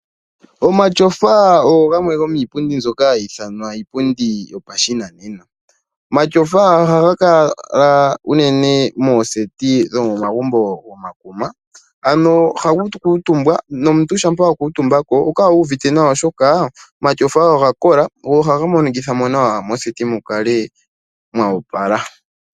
Omatsofa ogo gamwe go miipundi mbyoka hayi ithanwa iipundi yopashinanena ,omatsofa ohaga kala unene ngaashi moseti dhomagumbo gopashinanena ano momagumbo gekuma ano oha kukutumbwa nomuntu shampa wa kuutumbako oho kala wuuvite nawa oshoka omatsofa oga kola go ohaga monikitha nawa metsofa mukale mwa opala.